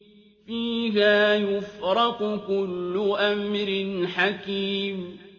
فِيهَا يُفْرَقُ كُلُّ أَمْرٍ حَكِيمٍ